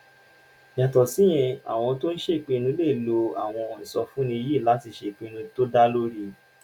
yàtọ̀ síyẹn àwọn tó ń tó ń ṣèpinnu lè lo àwọn ìsọfúnni yìí láti ṣèpinnu tó dá lórí